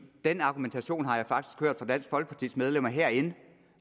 den argumentation har jeg faktisk hørt fra dansk folkepartis medlemmer herinde